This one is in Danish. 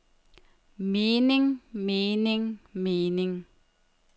mening mening mening